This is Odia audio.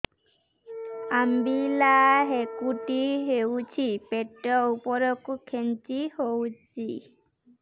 ଅମ୍ବିଳା ହେକୁଟୀ ହେଉଛି ପେଟ ଉପରକୁ ଖେଞ୍ଚି ହଉଚି